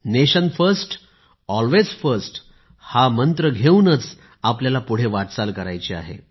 nation first always first हा मंत्र घेऊनच आपल्याला पुढे वाटचाल करायची आहे